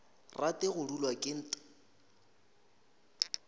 rate go dulwa ke nt